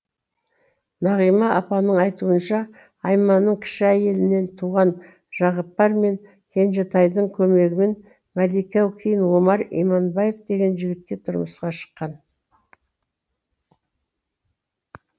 нағима апаның айтуынша айманның кіші әйелінен туған жағыпар мен кенжетайдың көмегімен мәлике кейін омар иманбаев деген жігітке тұрмысқа шыққан